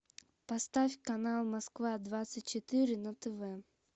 поставь канал москва двадцать четыре на тв